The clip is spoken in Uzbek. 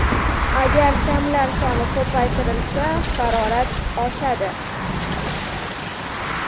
Agar shamlar soni ko‘paytirilsa, harorat oshadi.